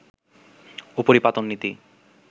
উপরিপাতন নীতি